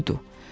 Budu.